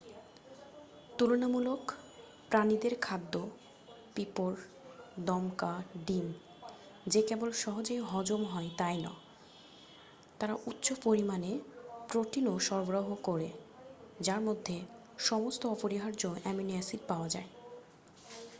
তুলনামূলক প্রাণীদের খাদ্য পিঁপড় দমকা ডিম যে কেবল সহজেই হজম হয় তাই নয় তারা উচ্চ পরিমাণে প্রোটিনও সরবরাহ করে যার মধ্যে সমস্ত অপরিহার্য অ্যামিনো অ্যাসিড পাওয়া যায়।